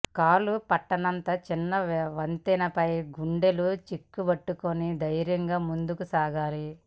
కాలు పట్టనంత చిన్న వంతెనలపై గుండెలు చిక్కబట్టుకుని ధైర్యంగా ముందుకు సాగాలి